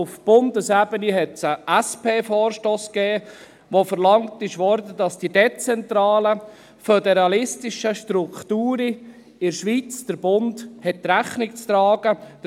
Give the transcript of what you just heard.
Auf Bundesebene gab es sogar einmal einen SP-Vorstoss, der verlangt hat, dass der Bund den dezentralen, föderalistischen Strukturen in der Schweiz Rechnung zu tragen hat.